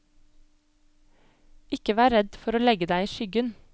Ikke vær redd for å legge deg i skyggen.